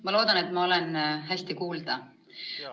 Ma loodan, et ma olen hästi kuulda.